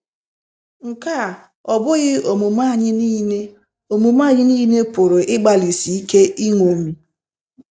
Nke a, ọ́ bụghị omume anyị nile omume anyị nile pụrụ ịgbalịsi ike iṅomi?